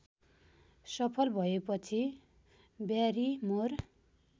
सफल भएपछि ब्यारिमोर